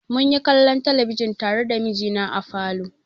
Mun yi kallon talabijin tare da mijina a falo.